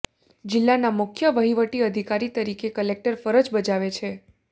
જિલ્લાના મુખ્ય વહીવટી અધિકારી તરીકે કલેક્ટર ફરજ બજાવે છે